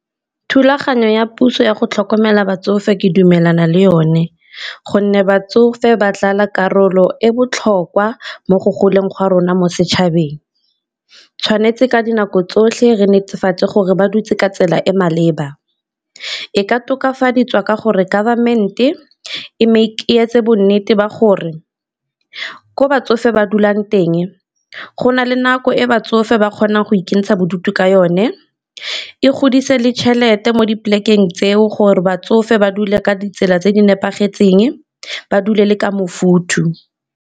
Thulaganyo ya puso ya go tlhokomela batsofe ke dumelana le yone gonne batsofe ba dlala karolo e botlhokwa mo go goleng ga rona mo setšhabeng, tshwanetse ka dinako tsotlhe re netefatse gore ba dutse ka tsela e maleba. E ka tokafadiwa ka gore government-e e etse bo nnete ba gore ko batsofe ba dulang teng go na le nako e batsofe ba kgonang go ikentsha bodutu ka yone, e godise le tšhelete mo di polekeng tseo gore batsofe ba dule ka ditsela tse di nepagetseng, ba dule le ka mofutho.